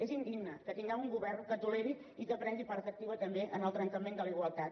és indigne que tinguem un govern que ho toleri i que prengui part activa també en el trencament de la igualtat